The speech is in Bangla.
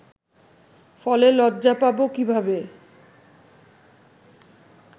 ফলে লজ্জা পাবো কিভাবে